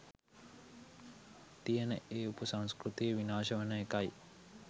තියෙන ඒ උපසංස්කෘතිය විනාශ වෙන එකයි.